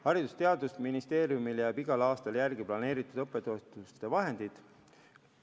Haridus- ja Teadusministeeriumil jääb igal aastal järele planeeritud õppetoetuste vahendeid.